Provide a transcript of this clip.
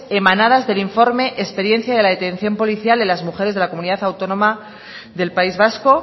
emanadas del informe experiencia de la detención policial de las mujeres de la comunidad autónoma del país vasco